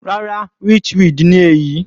Rárá, witchweed ni èyí.